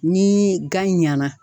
Ni gan ɲɛna